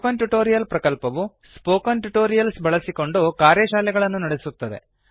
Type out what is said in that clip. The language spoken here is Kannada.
ಸ್ಪೋಕನ್ ಟ್ಯುಟೋರಿಯಲ್ ಪ್ರಕಲ್ಪವು ಸ್ಪೋಕನ್ ಟ್ಯುಟೋರಿಯಲ್ಸ್ ಬಳಸಿಕೊಂಡು ಕಾರ್ಯಶಾಲೆಗಳನ್ನು ನಡೆಸುತ್ತದೆ